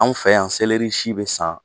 Anw fɛ yan seleri si bɛ san